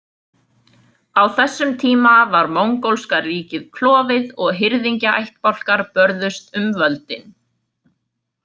Á þessum tíma var mongólska ríkið klofið og hirðingjaættbálkar börðust um völdin.